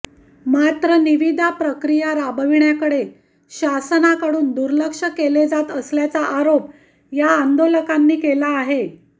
मात्र निविदा प्रक्रिया राबविण्याकडे शासनाकडून दुर्लक्ष केला जात असल्याचा आरोप या आंदोलकांनी केला आहे